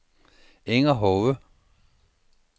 Inger Hove